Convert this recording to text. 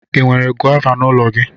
Ị nwere gọva n'ụlọ gị?